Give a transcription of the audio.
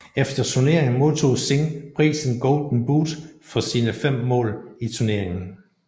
Efter turneringen modtog Singh prisen Golden Boot for sine fem mål i turneringen